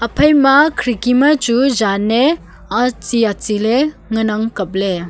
phaima khirki ma chu jan ne achi achi le ngan ang kaple.